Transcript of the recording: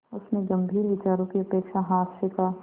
उसमें गंभीर विचारों की अपेक्षा हास्य का